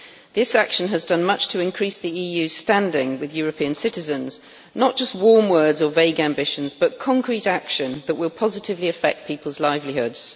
This action has done much to increase the EU's standing with European citizens, not just warm words or vague ambitions, but concrete action that will positively affect people's livelihoods.